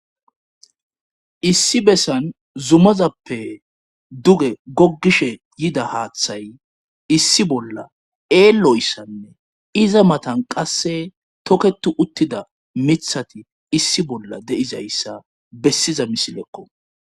Issi bessan zumazappe duge goggishe yida haaththay issi bolla eelloyssanne iza matan qasse toketu uttida mithati issi bolla de7izayssa bessiza misilekko.